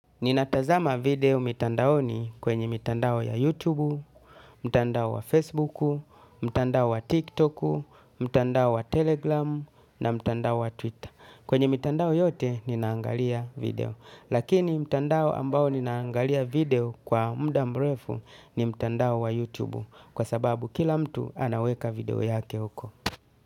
Ninatazama video mitandaoni kwenye mitandao ya YouTube, mtandao wa Facebook, mtandao wa TikTok, mtandao wa Telegram na mtandao wa Twitter. Kwenye mitandao yote ninaangalia video. Lakini mtandao ambao ninaangalia video kwa muda mrefu ni mtandao wa YouTube kwa sababu kila mtu anaweka video yake huko.